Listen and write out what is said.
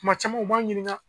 Kuma caman u b'an ɲininka.